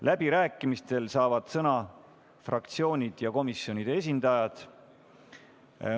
Läbirääkimistel saavad sõna fraktsioonide ja komisjonide esindajad.